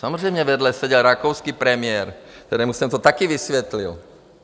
Samozřejmě, vedle seděl rakouský premiér, kterému jsem to také vysvětlil.